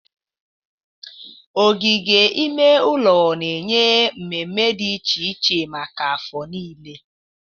Ogige ime ụlọ na-enye mmemme dị iche iche maka afọ niile.